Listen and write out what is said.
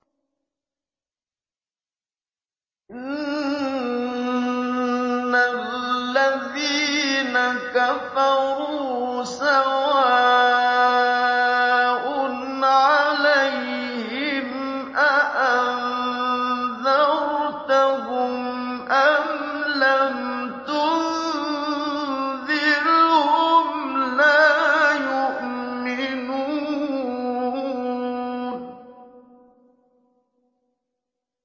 إِنَّ الَّذِينَ كَفَرُوا سَوَاءٌ عَلَيْهِمْ أَأَنذَرْتَهُمْ أَمْ لَمْ تُنذِرْهُمْ لَا يُؤْمِنُونَ